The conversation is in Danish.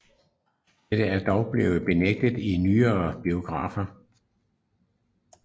Dette er dog blevet benægtet i nyere biografier